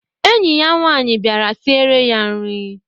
Enyi ya nwanyị bịara siere ya nri